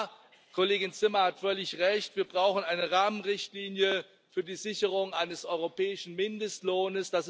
Und ja, Kollegin Zimmer hat völlig recht Wir brauchen eine Rahmenrichtlinie für die Sicherung eines europäischen Mindestlohns.